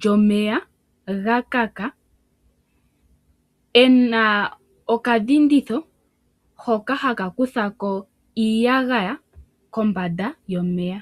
lyomeya gakaka, ena okadhinditho hoka haka kuthako iiyagaya kombanda yomeya.